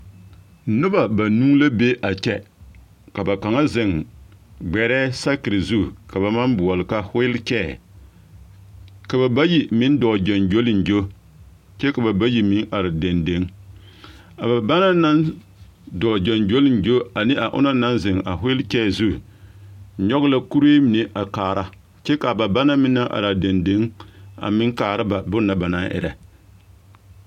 Noba banuu la be a kyɛ ka ba kaŋa zeŋ gbɛrɛɛ sakiri zu ka ba maŋ boɔle ka wiilikyɛyɛ ka ba bayi meŋ dɔɔ gyoŋgyoliŋgyo kyɛ ka ba bayi meŋ are dendeŋ a ba banaŋ naŋ dɔɔ gyoŋgyoliŋgyo ane a onaŋ naŋ zeŋ a wiilikyɛyɛ zu nyɔge la kuree mine a kaara kyɛ k'a banaŋ meŋ naŋ araa dendeŋ a meŋ kaara ba bone na banaŋ erɛ.